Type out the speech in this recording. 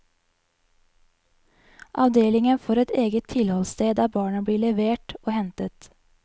Avdelingen får et eget tilholdssted der barna blir levert og hentet.